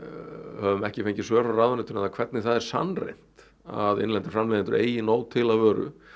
höfum ekki fengið svör frá ráðuneytinu um það hvernig það er sannreynt að innlendir framleiðendur eigi nóg til af vöru